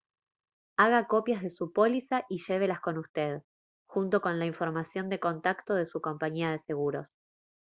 haga copias de su póliza y llévelas con usted junto con la información de contacto de su compañía de seguros